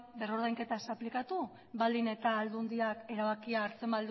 berrordainketa ez aplikatu baldin eta aldundiak